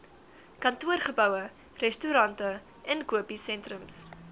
kantoorgeboue restaurante inkopiesentrums